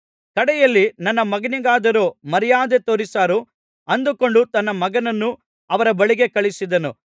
ಕಡೆಯಲ್ಲಿ ನನ್ನ ಮಗನಿಗಾದರೂ ಮರ್ಯಾದೆ ತೋರಿಸಾರು ಅಂದುಕೊಂಡು ತನ್ನ ಮಗನನ್ನು ಅವರ ಬಳಿಗೆ ಕಳುಹಿಸಿದನು